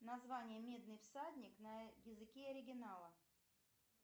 название медный всадник на языке оригинала